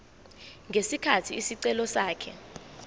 ngesikhathi isicelo sakhe